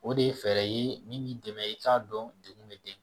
O de ye fɛɛrɛ ye min b'i dɛmɛ i k'a dɔn degun bɛ den